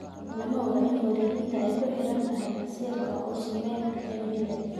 Lama oga in wareejinta ay ku xiran tahay masiirka Ousmane Dembele.